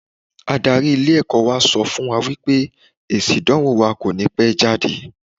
Adarí ilé ẹ̀kọ́ wa sọ fún wa wípé èsì ìdánwò wa kò ní pẹ́ jáde.